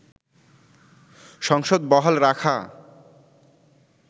সংসদ বহাল রাখা